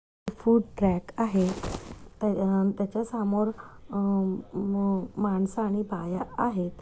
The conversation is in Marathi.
फूड आहे त्याच्या समोर आ मा- मानस आणि बाया आहेत.